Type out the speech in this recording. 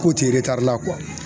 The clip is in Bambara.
K'o tɛ la